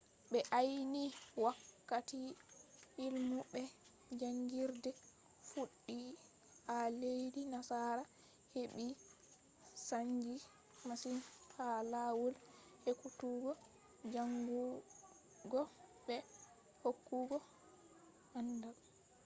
ɓe ayni wakkati illmu be jaangirde fuɗɗi a leddi nasara heɓɓi saanji masin ha lawol ekkutuggo jaangugo be hokkugo aandal